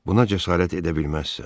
Buna cəsarət edə bilməzsən.